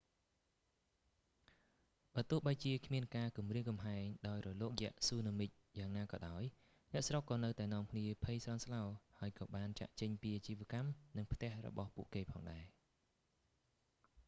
បើទោះបីជាគ្មានការគំរាមកំហែងដោយរលកយក្សស៊ូណាមិយ៉ាងណាក៏ដោយ អ្នកស្រុកក៏នៅតែនាំគ្នាភ័យស្លន់ស្លោ ហើយក៏បានចាកចេញពីអាជីវកម្ម និងផ្ទះរបស់ពួកគេផងដែរ